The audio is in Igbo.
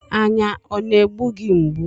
Anya ọ na-egbu gị mgbu?